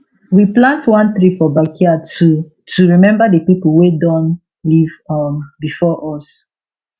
we plant one tree for backyard to to remember the people wey don live um before us